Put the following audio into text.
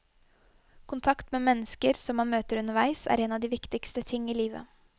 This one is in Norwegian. Kontakt med mennesker som man møter underveis, er en av de viktigste ting i livet.